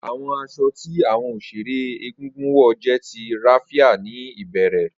Awọn aṣọ ti awọn oṣere egungun wọ jẹ ti raffia ni ibẹrẹ.